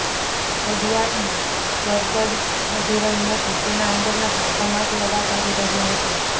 ઘડિયાળમાં ગરબડ વધી રહી હતી તેના અંદરના ભાગોમાંથી અવાજ આવી રહ્યો હતો